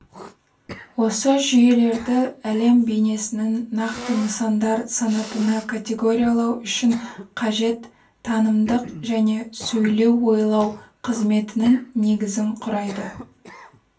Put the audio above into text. осы жүйелерді әлем бейнесінің нақты нысандар санатына категориялау үшін қажет танымдық және сөйлеу-ойлау қызметінің негізін құрайды